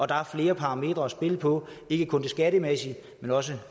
der er flere parametre at spille på ikke kun det skattemæssige men også